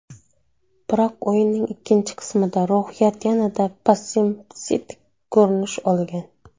Biroq o‘yinning ikkinchi qismida ruhiyat yanada pessimistik ko‘rinish olgan.